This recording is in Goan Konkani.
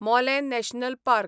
Mollem national park